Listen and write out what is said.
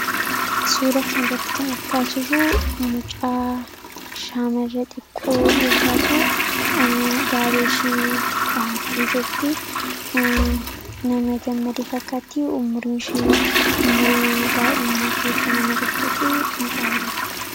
Suura kana irratti kan argaa jirru mucaa shaamarra xiqqoo yootaatu daabeeshii dhahattee jirti. Nama gammade fakkaatti ummuriinshii ummurii daa'imummaa keessa nama jirtuufi mucaa bareedduudha.